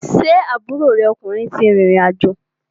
Ṣé aburo rẹ ọkùnrin ti rìrìn àjò?